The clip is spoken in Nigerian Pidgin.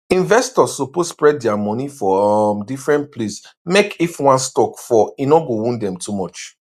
investors suppose spread dia money for um different place mek if one stock fall e no go wound dem too much